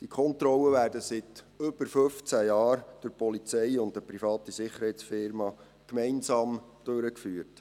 Diese Kontrollen werden seit über 15 Jahren von der Polizei und einer privaten Sicherheitsfirma gemeinsam durchgeführt.